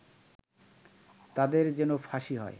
তাদের যেন ফাঁসি হয়